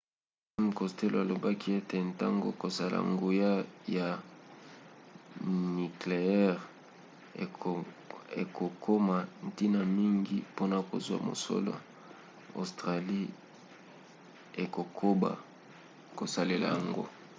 m costello alobaki ete ntango kosala nguya ya nikleyere ekokoma ntina mingi mpona kozwa mosola australie ekokoba kosalela yango